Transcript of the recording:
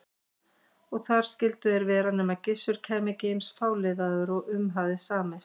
Og þar skyldu þeir vera nema Gissur kæmi ekki eins fáliðaður og um hafði samist.